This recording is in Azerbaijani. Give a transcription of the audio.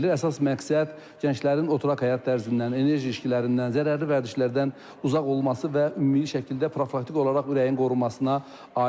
Əsas məqsəd gənclərin oturaq həyat tərzindən, enerji içkilərindən, zərərli vərdişlərdən uzaq olması və ümumi şəkildə profilaktik olaraq ürəyin qorunmasına aiddir.